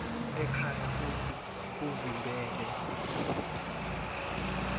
ekhaya futsi uvimbele